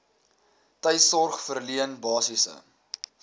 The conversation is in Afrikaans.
tuissorg verleen basiese